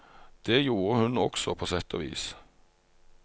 Det gjorde hun også på sett og vis.